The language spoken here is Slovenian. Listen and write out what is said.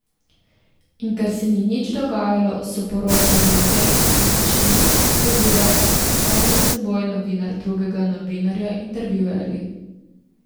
In ker se ni nič dogajalo, so poročali o tem, da se še nič ni zgodilo ter se kar med seboj, novinar drugega novinarja, intervjuvali.